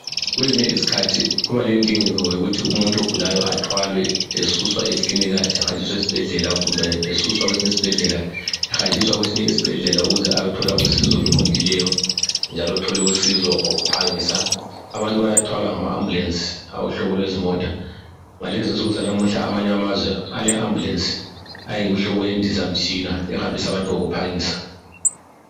Kwezinye izikhathi kubalendingeko yokuthi umuntu ogulayo athwalwe esuswa ekilinika ehanjiswa esibhedlela kumbe esuswa kwesinye isibhedlela ehanjiswa kwesinye isibhedlela ukuze ayethola usizo oluqondileyo njalo athole usizo ngokuphangisa. Abantu bayathwalwa ngamaambulensi awohlobo lwezimota. Ngalezinsuku zanamuhla amanye amazwe aleambulensi ayimhlobo yendizamtshina ehambisa abantu ngokuphangisa.